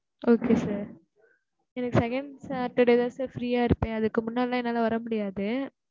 okay sir எனக்கு second saturday தான் sir free யா இருப்பேன் அதுக்கு முன்னலா என்னால வர முடியாது